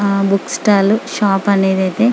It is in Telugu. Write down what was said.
ఆహ్ బుక్స్ స్టాల్ షాప్ అనేది అయితే --